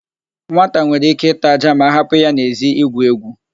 Nwata nwere íké ịta ájá ma a hapụ ya n'èzí igwu égwù.